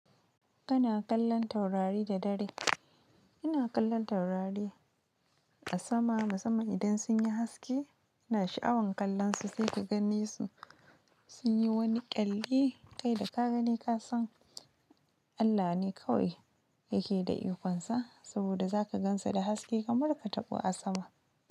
Kana kallon taurari da dare. Ina kallon taurari a sama, musamman idan sun yi haske. Ina sha'awan kallonsu sai ka gane su sun yi wani ƙyalli. Kai da ka gani ka san Allah ne kawai yake da ikonsa saboda za ka gansa da haske kamar ka taɓo a sama.